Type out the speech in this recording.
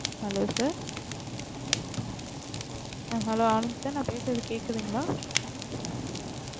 Hello sir hello Anand sir ந பேசுறது கேக்குதுங்க